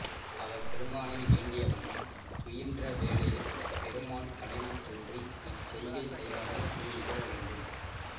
அவர் பெருமானை வேண்டிய வண்ணம் துயின்ற வேளையிற் பெருமான் கனவில் தோன்றி இச்செய்கை செய்பவனை நீ இகழவேண்டாம்